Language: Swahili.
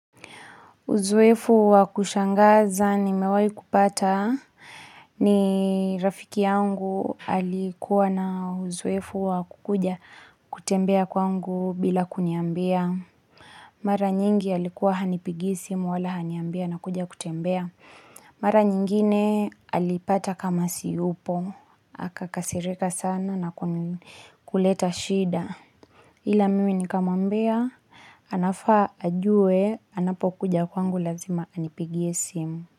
Uzoefu wa kushangaza nimewahi kupata. Ni rafiki yangu alikuwa na uzoefu wa kuja kutembea kwangu bila kuniambia. Mara nyingi alikuwa hanipigii simu wala haniambii anakuja kutembea. Mara nyingine alipata kama siyupo. Hakakasirika sana na kuleta shida. Hila mimi nikamwambia, anafaa ajue, anapokuja kwangu lazima anipigie simu.